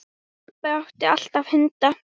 Pabbi átti alltaf hunda.